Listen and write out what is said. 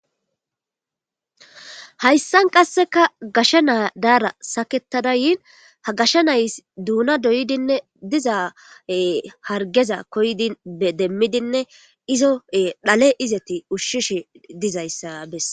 hayssan qasseka gasha naa daara saketada yiin ha gashsha nays duuna doydinne dizaae hargeza koydi demmidinne izo dhale izeti ushshishe dizayssa besse